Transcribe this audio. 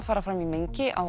fara fram í mengi á